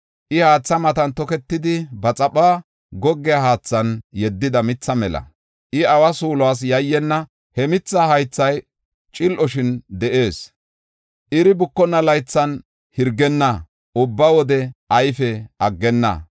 I haatha matan toketidi, ba xaphuwa goggiya haathan yeddida mitha mela. I awa suulas yayyenna. He mithaa haythay cil7oshin de7ees. Iri bukonna laythan hirgenna; ubba wode ayfe aggenna.